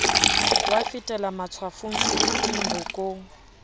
wa fetela matshwafong sebeteng bokong